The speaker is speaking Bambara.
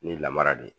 Ni lamara de ye